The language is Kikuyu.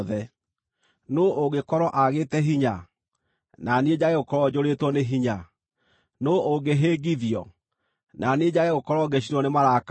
Nũũ ũngĩkorwo aagĩte hinya, na niĩ njage gũkorwo njũrĩtwo nĩ hinya? Nũũ ũngĩhĩngithio, na niĩ njage gũkorwo ngĩcinwo nĩ marakara?